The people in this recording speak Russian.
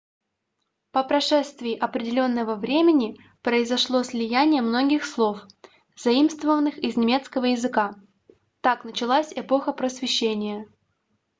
по прошествии определенного времени произошло слияние многих слов заимствованных из немецкого языка так началось эпоха просвещения